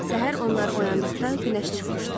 Səhər onlar oyandıqda günəş çıxmışdı.